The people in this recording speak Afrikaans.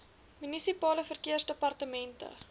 munisipale verkeersdepartemente